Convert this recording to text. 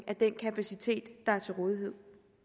af den kapacitet der er til rådighed